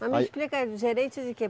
Mas me explica gerente de quê?